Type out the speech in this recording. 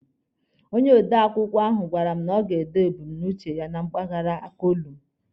Onye ode akụkọ ahụ gwara m na ọ ga-ede ebumnuche ya na mpaghara kolumu.